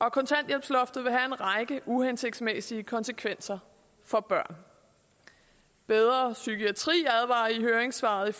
at kontanthjælpsloftet vil have en række uhensigtsmæssige konsekvenser for børnene bedre psykiatri advarer i høringssvaret